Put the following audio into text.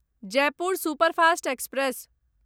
Jaipur superfast express